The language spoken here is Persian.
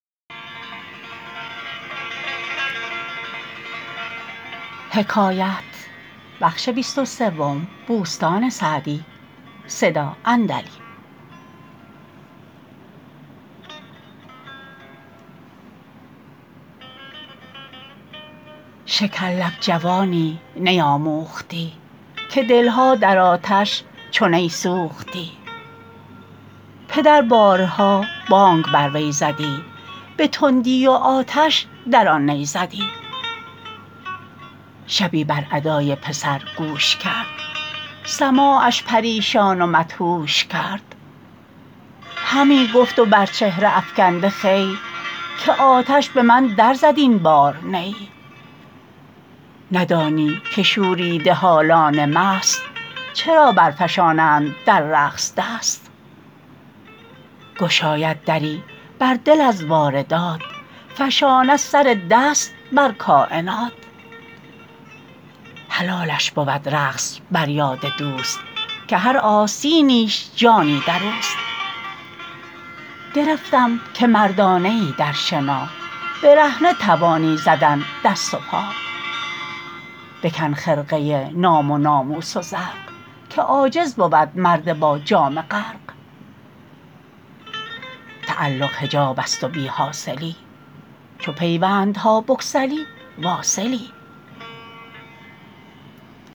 شکر لب جوانی نی آموختی که دلها در آتش چو نی سوختی پدر بارها بانگ بر وی زدی به تندی و آتش در آن نی زدی شبی بر ادای پسر گوش کرد سماعش پریشان و مدهوش کرد همی گفت و بر چهره افکنده خوی که آتش به من در زد این بار نی ندانی که شوریده حالان مست چرا بر فشانند در رقص دست گشاید دری بر دل از واردات فشاند سر دست بر کاینات حلالش بود رقص بر یاد دوست که هر آستینیش جانی در اوست گرفتم که مردانه ای در شنا برهنه توانی زدن دست و پا بکن خرقه نام و ناموس و زرق که عاجز بود مرد با جامه غرق تعلق حجاب است و بی حاصلی چو پیوندها بگسلی واصلی